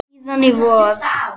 Síðan í vor.